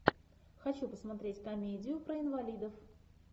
хочу посмотреть комедию про инвалидов